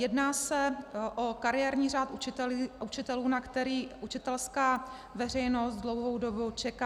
Jedná se o kariérní řád učitelů, na který učitelská veřejnost dlouhou dobu čeká.